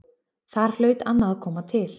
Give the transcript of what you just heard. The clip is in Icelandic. Þar hlaut annað að koma til.